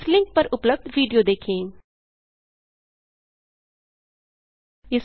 इस लिंक पर उपलब्ध विडियो देखें httpspoken tutorialorgWhat इस आ स्पोकेन ट्यूटोरियल